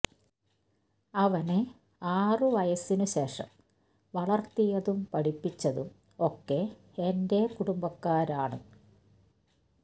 അവനെ ആറ് വയസ്സിനു ശേഷം വളർത്തിയതും പഠിപ്പിച്ചതും ഒക്കെ എന്റെ കുടുംബക്കാരാണ്